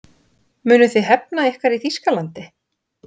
Munuð þið hefna ykkar í Þýskalandi?